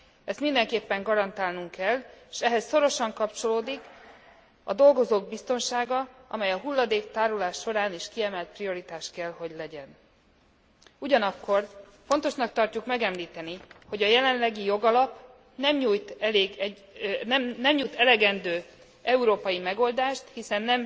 Ezt mindenképpen garantálnunk kell, és ehhez szorosan kapcsolódik a dolgozók biztonsága, amely a hulladéktárolás során is kiemelt prioritás kell legyen, ugyanakkor fontosnak tarjuk megemlíteni, hogy a jelenlegi jogalap nem nyújt elegendő európai megoldást, hiszen